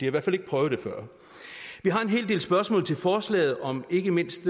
i hvert fald ikke prøvet det før vi har en hel del spørgsmål til forslaget om ikke mindst